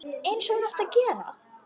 Einsog hún átti að gera.